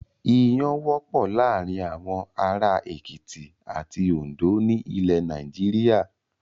Iyán wọ́pọ̀ láàárin àwọn ará Èkìtì àti Oǹdó ní ilẹ̀ Nàìjíríà.